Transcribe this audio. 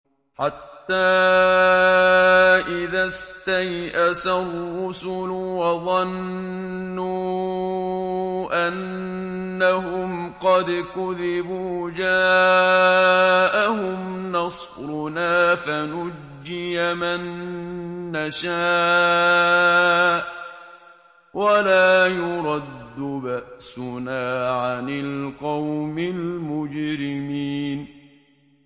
حَتَّىٰ إِذَا اسْتَيْأَسَ الرُّسُلُ وَظَنُّوا أَنَّهُمْ قَدْ كُذِبُوا جَاءَهُمْ نَصْرُنَا فَنُجِّيَ مَن نَّشَاءُ ۖ وَلَا يُرَدُّ بَأْسُنَا عَنِ الْقَوْمِ الْمُجْرِمِينَ